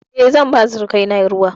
E, zan ba surukaina ruwa.